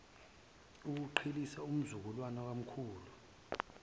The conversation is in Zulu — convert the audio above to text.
ukuqhelisa umzukulu kumkhulu